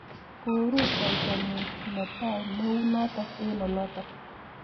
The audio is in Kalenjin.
ko rutoitonyi ne tai ne u notok eng olotok.